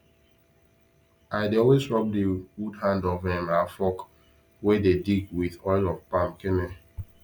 i dey always rub the wood hand of um our fork wey dey dig with oil of palm kernel